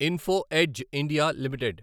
info Edge India limited